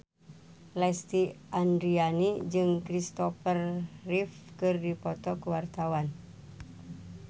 Lesti Andryani jeung Kristopher Reeve keur dipoto ku wartawan